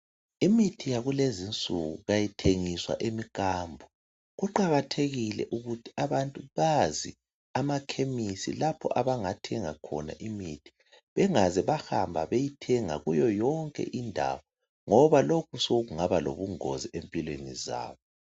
Imithi yakulezinsuku kayithengiswa emikhambo . Kuqakathekile ukuthi abantu Bazi amakhemisi lapho abangathenga khona imithi ,bengaze bahamba beyithenga kuyo yonke indawo ngoba lokhu sokungaba lobungozi empilweni zabo.